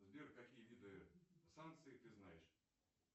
сбер какие виды санкций ты знаешь